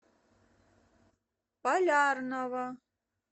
полярного